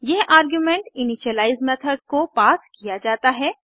यह argument initialise method को पास किया जाता है